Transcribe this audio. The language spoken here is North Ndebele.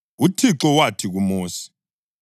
UThixo wathi kuMosi,